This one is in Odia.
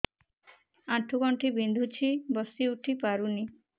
ଆଣ୍ଠୁ ଗଣ୍ଠି ବିନ୍ଧୁଛି ବସିଉଠି ପାରୁନି